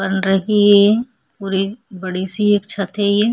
बन रही है और एक बड़ी सी एक छत है ये --